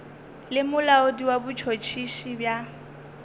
le molaodi wa botšhotšhisi bja